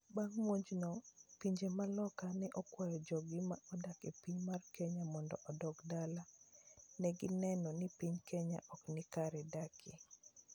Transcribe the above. Bang muojno, pinje ma loka ne okwayo joggi mane odak e piny mar Kenya mondo odog dala. Negineno ni piny Kenya ok nikare dakie.